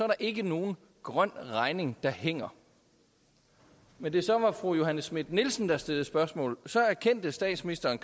der ikke nogen grøn regning der hænger da det så var fru johanne schmidt nielsen der stillede spørgsmål erkendte statsministeren